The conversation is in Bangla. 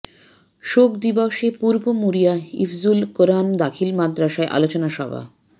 শোক দিবসে পূর্ব মুড়িয়া হিফজুল কোরআন দাখিল মাদ্রাসায় আলোচনা সভা